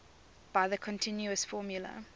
by the continuous formula